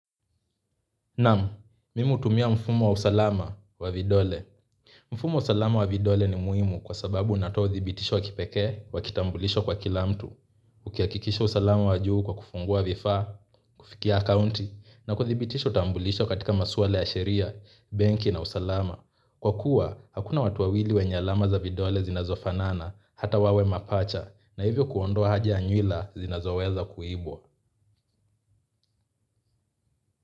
Naam, mimi hutumia mfumo wa usalama wa vidole. Mfumo wa usalama wa vidole ni muhimu kwa sababu unatoa uthibitisho wakipekee, wakitambulisho kwa kila mtu. Ukihakikisha usalama wa juu kwa kufungua vifaa, kufikia accounti, na kuthibitisha utambulisho katika masuala ya sheria, benki na usalama. Kwa kuwa, hakuna watu wawili wenye alama za vidole zinazofanana, hata wawe mapacha, na hivyo kuondoa haja yanywila zinazoweza kuibwa.